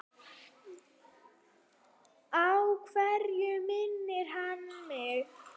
Á hvern minnir hann mig?